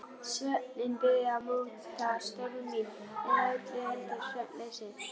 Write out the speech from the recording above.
Svefninn byrjaði að móta störf mín- eða öllu heldur svefnleysið.